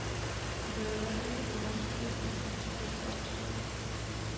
Hun behøver i hvert fald ikke bruge lang tid i makeupstolen.